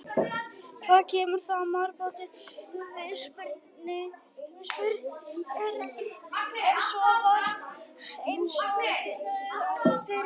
Hvað kemur það matarboðinu við? spurði Örn en svo var eins og kviknaði á peru.